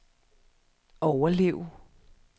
overleve